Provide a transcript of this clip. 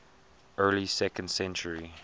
early second century